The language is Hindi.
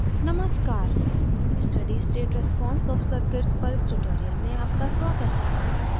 नमस्कार steady state response of circuits पर इस tutorial में आपका स्वागत है